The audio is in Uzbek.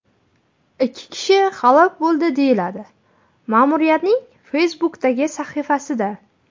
Ikki kishi halok bo‘ldi”, deyiladi ma’muriyatning Facebook’dagi sahifasida.